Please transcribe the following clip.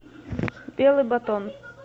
белый батон